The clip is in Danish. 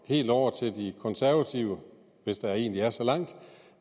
helt over til de konservative hvis der egentlig er så langt